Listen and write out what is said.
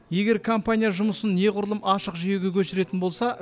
егер компания жұмысын неғұрлым ашық жүйеге көшіретін болса